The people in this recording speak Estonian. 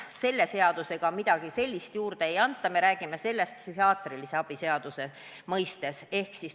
Selle seaduseelnõuga mingit niisugust õigust enam juurde ei anta, vaid me räägime õigustest psühhiaatrilise abi seaduse kontekstis.